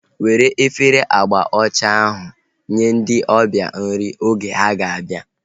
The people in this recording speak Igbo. Were efere agba ọcha ahu nye ndị ọbịa ahu nri oge ha ga-abịa